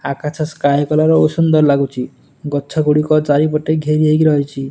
ଆକାଶ sky colour ଓ ସୁନ୍ଦର୍ ଲାଗୁଛି ଗଛ ଗୁଡ଼ିକ ଚାରିପଟେ ଘେରି ହେଇ ରହିଛି।